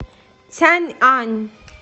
цяньань